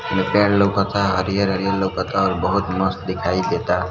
दुकान लउकता हरियर-हरियर लउकता और बहुत मस्त दिखाई देता।